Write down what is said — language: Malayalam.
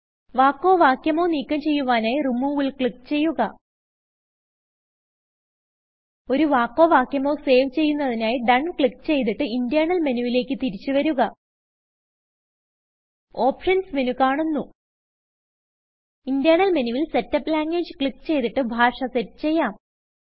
വാക്കോ വാക്യമോ നീക്കം ചെയ്യുവാനായി Removeൽ ക്ലിക്ക് ചെയ്യുക ഒരു വാക്കോ വാക്യമോ സേവ് ചെയ്യുന്നതിനായി DONEക്ലിക്ക് ചെയ്തിട്ട് ഇന്റെർണൽ മെനുവിലേക്ക് തിരിച്ച് വരുക ഓപ്ഷൻസ് മെനു കാണുന്നു ഇന്റെർണൽ മെനുവിൽ സെറ്റപ്പ് ലാംഗ്വേജ് ക്ലിക്ക് ചെയ്തിട്ട് ഭാഷ സെറ്റ് ചെയ്യാം